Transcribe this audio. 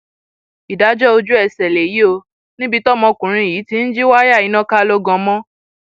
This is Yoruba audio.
ìdájọ ojúẹsẹ lèyí ò níbi tọmọkùnrin yìí ti ń jí wáyà iná ká lọ gan mọ